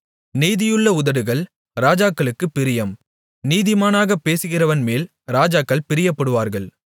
நீதியுள்ள உதடுகள் ராஜாக்களுக்குப் பிரியம் நிதானமாகப் பேசுகிறவன்மேல் ராஜாக்கள் பிரியப்படுவார்கள்